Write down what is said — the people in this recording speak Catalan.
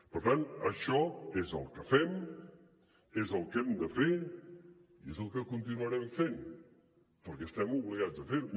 per tant això és el que fem és el que hem de fer i és el que continuarem fent perquè estem obligats a fer ho